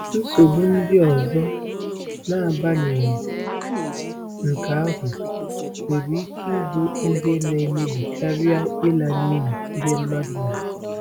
Nsogbu ndị ọzọ, n’agbanyeghị nke ahụ, nwere ike ịbụ ihe na-emebi karịa ịla n’iyi ihe mmadụ nwere.